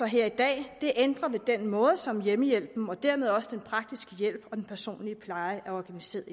her i dag ændrer den måde som hjemmehjælpen og dermed også den praktiske hjælp og personlige pleje er organiseret